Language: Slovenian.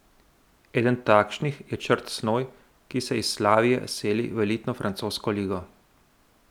Eden takšnih je Črt Snoj, ki se iz Slavije seli v elitno francosko ligo.